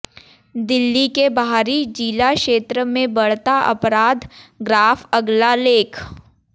दिल्ली के बाहरी जिला क्षेत्र में बढ़ता अपराध ग्राफ़ अगला लेख